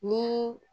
Ni